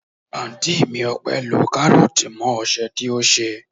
Anti mi Ope lọ karoti mọ ose tí ṣe.